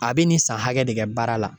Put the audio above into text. A bɛ nin san hakɛ de kɛ baara la.